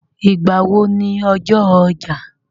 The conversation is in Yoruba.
Ìgbà wo ni ọjọ́ ọjà?